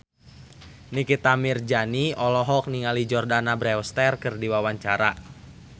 Nikita Mirzani olohok ningali Jordana Brewster keur diwawancara